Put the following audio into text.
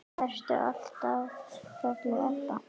Ertu alltaf kölluð Ebba?